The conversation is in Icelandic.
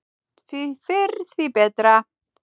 Því fyrr því betra.